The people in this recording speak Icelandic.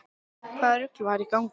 Hvaða rugl var í gangi?